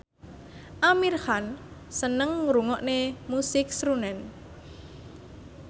Amir Khan seneng ngrungokne musik srunen